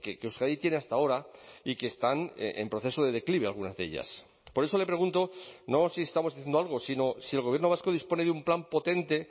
que euskadi tiene hasta ahora y que están en proceso de declive algunas de ellas por eso le pregunto no si estamos haciendo algo sino si el gobierno vasco dispone de un plan potente